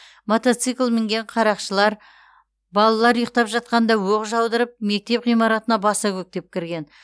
мотоцикл мінген қарақшылар балалар ұйықтап жатқанда оқ жаудырып мектеп ғимаратына баса көктеп кірген